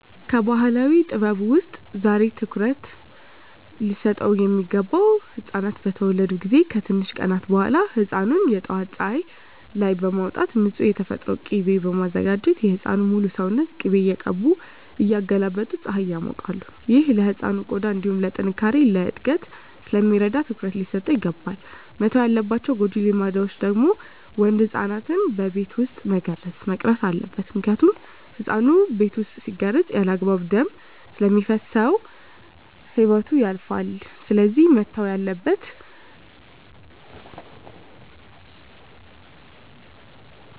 ከባህላዊ ጥበብ ውስጥ ዛሬ ላይ ትኩሩት ሊሰጠው ሚገባ ህፃናት በተወለዱ ጊዜ ከትንሽ ቀናት በኋላ ህፃኑን የጠዋት ፀሀይ ላይ በማውጣት ንፁህ የተፈጥሮ ቂቤ በማዘጋጀት የህፃኑን ሙሉ ሰውነት ቅቤ እየቀቡ እያገላበጡ ፀሀይ ያሞቃሉ። ይህ ለህፃኑ ቆዳ እንዲሁም ለጥነካሬ፣ ለእድገት ስለሚረዳው ትኩረት ሊሰጠው ይገባል። መተው ያለባቸው ጎጂ ልማዶች ደግሞ ወንድ ህፃናትን በቤት ውስጥ መገረዝ መቅረት አለበት ምክንያቱም ህፃኑ ቤት ውስጥ ሲገረዝ ያለአግባብ ደም ስለሚፈስሰው ህይወቱ ያልፋል ስለዚህ መተው አለበት።